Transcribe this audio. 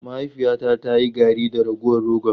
Mahaifiyata ta yi garri da ragowar rogon.